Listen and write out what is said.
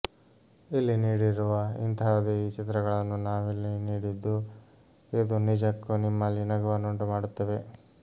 ಇಲ್ಲಿ ನೀಡಿರುವ ಇಂತಹುದೇ ಈ ಚಿತ್ರಗಳನ್ನು ನಾವಿಲ್ಲಿ ನೀಡಿದ್ದು ಇದು ನಿಜಕ್ಕೂ ನಿಮ್ಮಲ್ಲಿ ನಗುವನ್ನು ಉಂಟುಮಾಡುತ್ತವೆ